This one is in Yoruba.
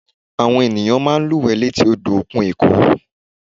Àwọn ènìyàn máa ń lúwẹ̀ẹ́ létí odò òkun èkó